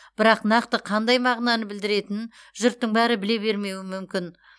бірақ нақты қандай мағынаны білдіретінін жұрттың бәрі біле бермеуі мүмкін